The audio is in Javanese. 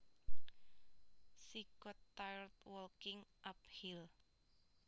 She got tired walking uphill